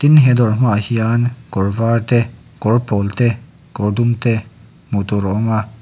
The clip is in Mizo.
he dawr hmaah hian kawr var te kawr pawl te kawr dum te hmuh tur a awm a.